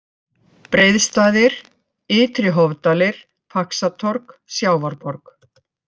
Breiðstaðir, Ytri-Hofdalir, Faxatorg, Sjávarborg